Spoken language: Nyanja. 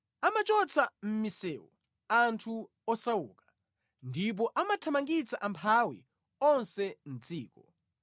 Amachotsa mʼmisewu anthu osauka, ndipo amathamangitsa amphawi onse mʼdziko.